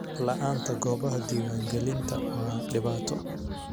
La'aanta goobaha diiwaangelinta waa dhibaato.